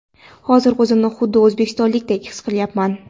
hozir o‘zimni xuddi o‘zbekistonlikdek his qilyapman.